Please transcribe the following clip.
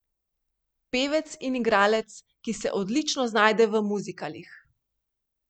Pevec in igralec, ki se odlično znajde v muzikalih.